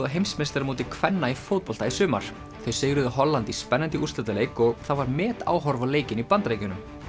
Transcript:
á heimsmeistaramóti kvenna í fótbolta í sumar þau sigruðu Holland í spennandi úrslitaleik og það var metáhorf á leikinn í Bandaríkjunum